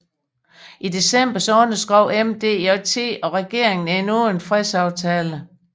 I december underskrev MDJT og regeringen endnu en fredsaftale